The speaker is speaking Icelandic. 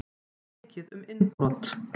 Mikið um innbrot